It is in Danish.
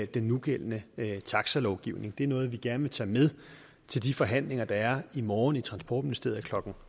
den nugældende taxalovgivning det er noget vi gerne vil tage med til de forhandlinger der er i morgen i transportministeriet klokken